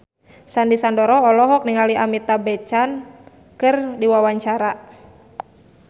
Sandy Sandoro olohok ningali Amitabh Bachchan keur diwawancara